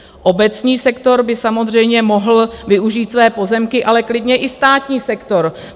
Obecní sektor by samozřejmě mohl využít své pozemky, ale klidně i státní sektor.